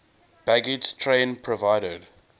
baggage train provided